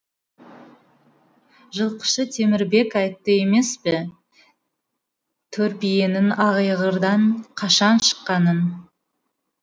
жылқышы темірбек айтты емес пе торбиенің айғырдан қашан шыққанын